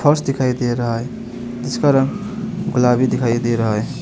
फर्श दिखाई दे रहा है जिसका रंग गुलाबी दिखाई दे रहा है।